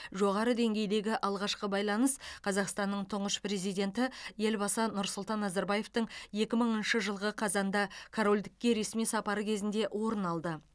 жоғары деңгейдегі алғашқы байланыс қазақстанның тұңғыш президенті елбасы нұрсұлтан назарбаевтың екі мыңыншы жылғы қазанда корольдікке ресми сапары кезінде орын алды